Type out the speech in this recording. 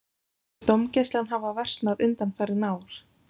Finnst þér dómgæslan hafa versnað undanfarin ár?